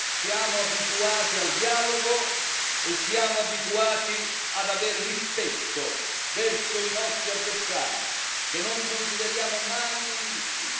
Siamo abituati al dialogo e siamo abituati ad avere rispetto verso i nostri avversari, che non consideriamo mai nemici.